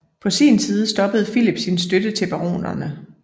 På sin side stoppede Filip sin støtte til baronerne